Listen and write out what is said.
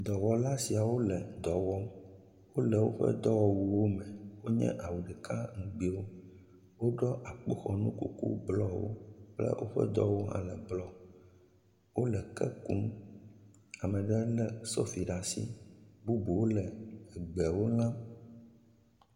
Dɔwɔla sia wo le dɔ wɔm, wole woƒe dɔwɔwuwo me wonye awu ɖeka ŋgbiwo, woɖɔ akpoxɔnu kuku blɔwo kple woƒe dɔwɔnu hã le blɔ, wole ke kum ame ɖe lé sofi ɖe asi, bubuwo le egbewo ŋem.